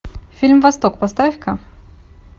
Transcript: фильм восток поставь ка